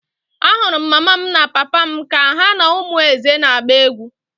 Ahụrụ m mama m na papa m ka ha na ụmụ Eze na-agba egwu.